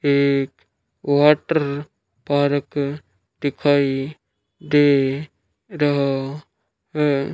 एक water park दिखाई दे रहा है।